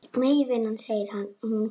Nei vinan, segir hún.